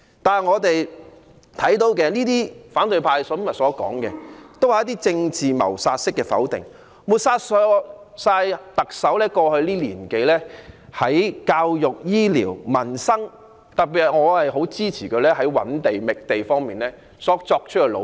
但是，我們聽到反對派今天所說的，均是一些政治謀殺式的否定，抹煞特首過去1年多在教育、醫療、民生等方面的工作——我特別認同她在覓地方面的努力。